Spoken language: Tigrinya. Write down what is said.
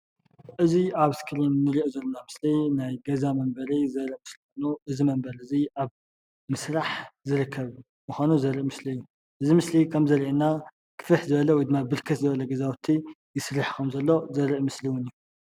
እዚ ኣብ እስክሪን እንርእዮ ዘለና ምስሊ ናይ ገዛ መንበሪ ዘርኢ ምስሊ ኮይኑ እዚ መንበሪ እዙይ ኣብ ምስራሕ ዝርከብ ምኳኑ ዘርኢ ምስሊ እዩ። እዚ ምስሊ ከም ዘርአየና ግፍሕ ዝበለ ወይድማ ብርክት ዝበለ ገዛውቲ ይስራሕ ከም ዘሎ ዘርኢ ምስሊ እውን እዩ።